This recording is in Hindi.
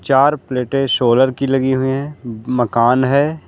चार प्लेटें सोलर की लगी हुई हैं मकान है।